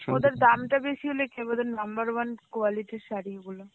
ওদের দামটা বেশি হলে কি হবে ওদের number one quality শাড়িগুলো.